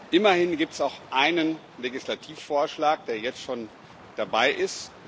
Immerhin gibt es auch einen Legislativvorschlag, der jetzt schon dabei ist.